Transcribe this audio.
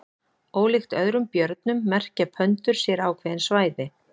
ólíkt öðrum björnum merkja pöndur sér ákveðin svæði